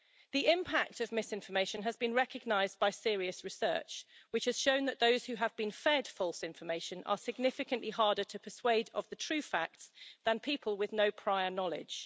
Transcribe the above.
The impact of misinformation has been recognised by serious research, which has shown that those who have been fed false information are significantly harder to persuade of the true facts than people with no prior knowledge.